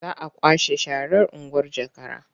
Za a kwashe sharar unguwar Jakara.